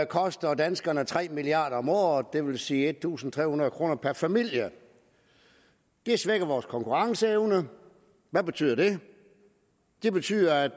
koster danskerne tre milliard kroner om året det vil sige en tusind tre hundrede kroner per familie det svækker vores konkurrenceevne hvad betyder det det betyder at